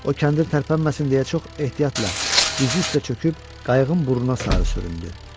O kəndir tərpənməsin deyə çox ehtiyatla dizi üstə çöküb qayığın burnuna sarı sürüdü.